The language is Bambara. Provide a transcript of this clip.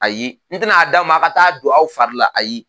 Ayi n tɛna a d'aw ma a ka taa don aw fari la ayi